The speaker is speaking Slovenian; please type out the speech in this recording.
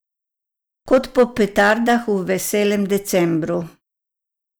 Kot po petardah v veselem decembru.